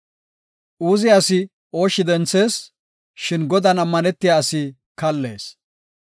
Uuze asi ooshshi denthees; shin Godan ammanetiya asi kallees.